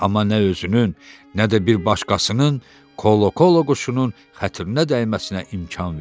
Amma nə özünün, nə də bir başqasının kolokolo quşunun xatirinə dəyməsinə imkan verdi.